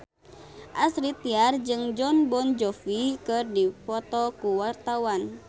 Astrid Tiar jeung Jon Bon Jovi keur dipoto ku wartawan